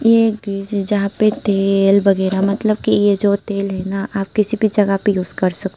जहाँ पे तेल वगैरह मतलब की ये जो तेल है ना आप किसी भी जगह पे यूज़ कर सकते--